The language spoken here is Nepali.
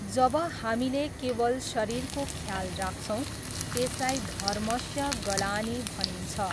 जब हामीले केवल शरीरको ख्याल राख्छौँ, त्यसलाई धर्मस्य गलानीः भनिन्छ।